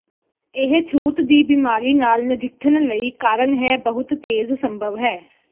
ਇਹ ਛੂਤ ਦੀ ਬਿਮਾਰੀ ਨਾਲ ਨਜਿੱਠਣ ਲਈ ਕਾਰਨ ਹੈ ਬਹੁਤ ਤੇਜ਼ ਸੰਭਵ ਹੈ